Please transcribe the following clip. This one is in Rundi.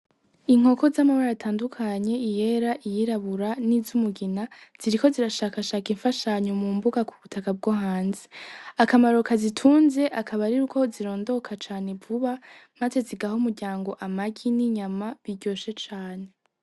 Inkoko zamabara atandukanye iyera, iyirabura nizumugina ziriko zirashakashaka imfashanyo mumbuga kubutaka bwohanze akamaro kazitunze akabari yuko zirondoka cane vuba maze zigaha umuryango amagi , ninyama biryoshe cane.